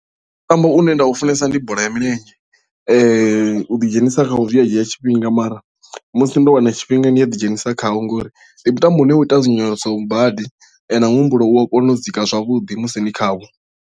Mutambo une nda u funesa ndi bola ya milenzhe u ḓi dzhenisa khawo zwia dzhia tshifhinga mara musi ndo wana tshifhinga ndi a ḓi dzhenisa khawo ngori ndi mutambo une u ita dzinyonyoloso badi na muhumbulo u a kona u dzika zwavhuḓi musi ni khawo.